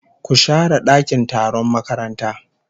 Ku share dakin taron makaranta